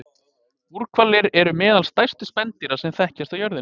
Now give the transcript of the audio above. Búrhvalir eru meðal stærstu spendýra sem þekkjast á jörðinni.